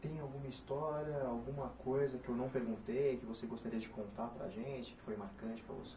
Tem alguma história, alguma coisa que eu não perguntei, que você gostaria de contar para a gente, que foi marcante para você?